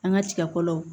An ka tigakɔlɔw